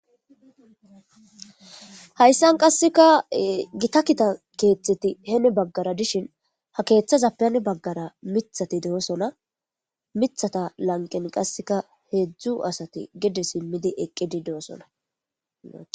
Hayssan qasseka gita kita keeththeti heeni baggara dishin ha keeththaza pen baggara mithati de'osona mithata lanqen qasseka heedzdzu asati gede simmidi eqqidi de'osona.